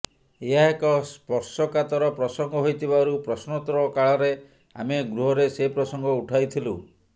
ଏହା ଏକ ସ୍ପର୍ଶକାତର ପ୍ରସଙ୍ଗ ହୋଇଥିବାରୁ ପ୍ରଶ୍ନୋତ୍ତର କାଳରେ ଆମେ ଗୃହରେ ସେ ପ୍ରସଙ୍ଗ ଉଠାଇଥିଲୁ